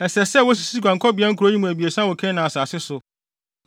Ɛsɛ sɛ wosisi guankɔbea nkurow yi mu abiɛsa wɔ Kanaan asase so